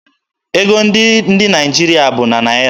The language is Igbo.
Ego ndị Naịjirịa bụ na Naịra.